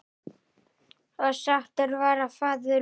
Og sáttur var faðir minn.